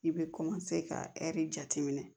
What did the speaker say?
I bɛ ka ɛri jateminɛ